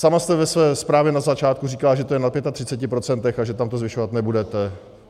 Sama jste ve své zprávě na začátku říkala, že to je na 35 %, že tam to zvyšovat nebudete.